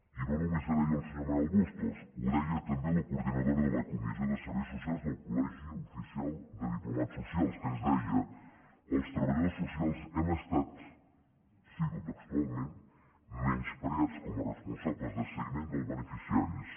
i no només ho deia el senyor manuel bustos ho deia també la coordinadora de la comissió de serveis socials del col·legi oficial de diplomats socials que ens deia els treballadors socials hem estat cito textualment menyspreats com a responsables del seguiment dels beneficiaris